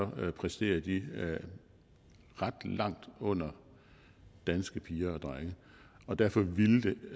præsterer de ret langt under danske piger og drenge og derfor ville